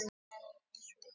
Reykjanesvita